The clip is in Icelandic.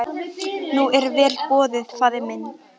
Nú er vel boðið faðir minn.